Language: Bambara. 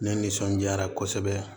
Ne nisɔndiyara kosɛbɛ